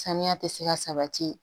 Saniya tɛ se ka sabati